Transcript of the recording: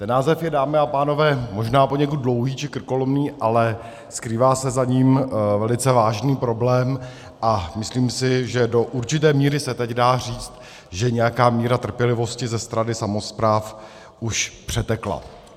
Ten název je, dámy a pánové, možná poněkud dlouhý či krkolomný, ale skrývá se za ním velice vážný problém, a myslím si, že do určité míry se teď dá říct, že nějaká míra trpělivosti ze strany samospráv už přetekla.